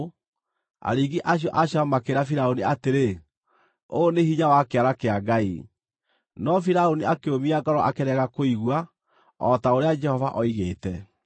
Aringi acio a ciama makĩĩra Firaũni atĩrĩ, “Ũyũ nĩ hinya wa kĩara kĩa Ngai.” No Firaũni akĩũmia ngoro akĩrega kũigua, o ta ũrĩa Jehova oigĩte.